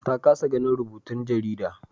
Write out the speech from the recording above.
Ta kasa ganin rubutun jarida